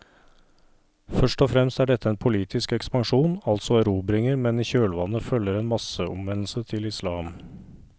Først og fremst er dette en politisk ekspansjon, altså erobringer, men i kjølvannet følger en masseomvendelse til islam.